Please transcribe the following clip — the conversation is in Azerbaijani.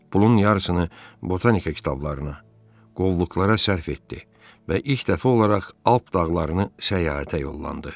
Pulun yarısını botanika kitablarına, qovluqlara sərf etdi və ilk dəfə olaraq Alt dağlarını səyahətə yollandı.